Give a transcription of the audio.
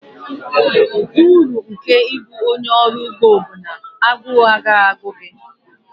Uru nke ịbụ onye ọrụ ugbo bụ na agụụ agaghị agụ gị